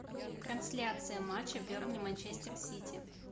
трансляция матча бернли манчестер сити